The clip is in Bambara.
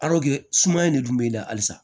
suma in de dun b'e la halisa